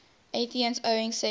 athenians owning second